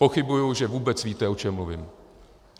Pochybuji, že vůbec víte, o čem mluvím.